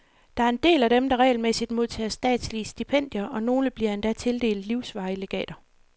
Der er en del af dem, der regelmæssigt modtager statslige stipendier, og nogle bliver endda tildelt livsvarige legater.